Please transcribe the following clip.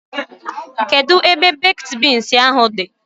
Kedụ ebe bakid beans ahụ dị?